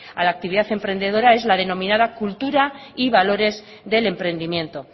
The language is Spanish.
a la actividad emprendedora es la denominada cultura y valores del emprendimiento